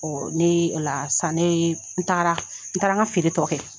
ne la san, ne n tagara, n taara n ka feere tɔ kɛ.